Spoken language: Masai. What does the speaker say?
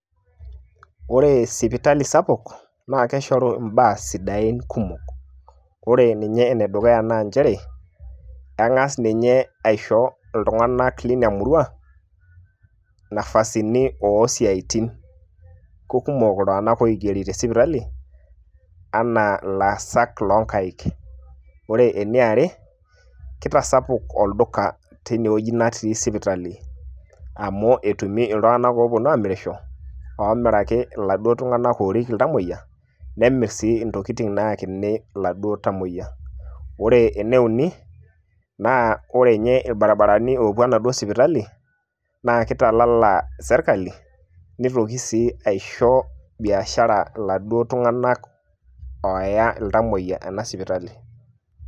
Ore sipitali sapuk na keshoru imbaa sidain kumok. Ore ninye enedukuya naa njere, keng'as ninye aisho iltung'anak lina murua, nafasini o siatin. kekumok iltung'anak oigeri te sipitali, enaa ilaasak loonkaik. Ore eniare, kitasapuk olduka teinewueji natii sipitali. Amu etumi iltung'anak oponu aamirisho, oomiraki iladuo tung'anak orip iltamoyia, nemir sii intokiting' nayakini iladuo tamoyia. Ore eneuni, naa ore nye irbarabarani oopuo enaduo sipitali, na kitalala sirkali, nitoki si aisho biashara laduo tung'anak ooya iltamoyia ena sipitali.